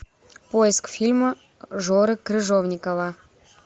поиск фильма жоры крыжовникова